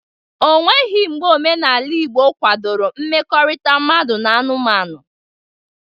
Eweghi mgbe omenaala Igbo kwadoro mmekọrịta mmadụ na anụmanụ.